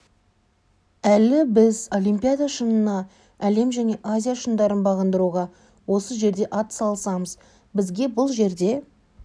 әлі біз олимпиада шыңына әлем және азия шыңдарын бағындыруға осы жерде ат салысамыз бізге бұл жерде